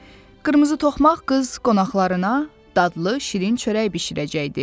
Qırmızı toxmaq qız qonaqlarına dadlı şirin çörək bişirəcəkdi.